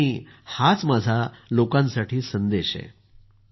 हाच माझा लोकांसाठी संदेश आहे सर